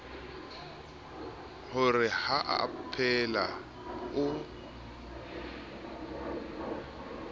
ho re ha aphela o